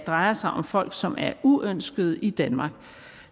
drejer sig om folk som er uønskede i danmark